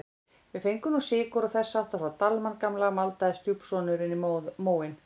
Við fengum nú sykur og þess háttar frá Dalmann gamla maldaði stjúpsonurinn í móinn.